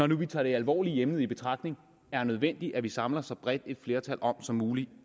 nu tager det alvorlige emne i betragtning er nødvendigt at vi samler så bredt et flertal om som muligt